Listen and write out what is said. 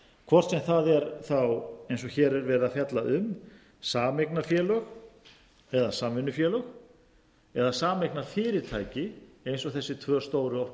hvort sem það er þá eins og hér er verið að fjalla um sameignarfélög eða samvinnufélög eða sameignarfyrirtæki eins og þessi tvö stóru orkufyrirtæki eru orkuveita